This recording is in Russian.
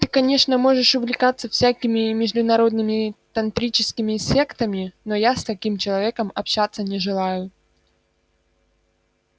ты конечно можешь увлекаться всякими международными тантрическими сектами но я с таким человеком общаться не желаю